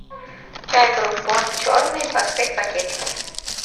чай брук бонд черный двадцать пять пакетиков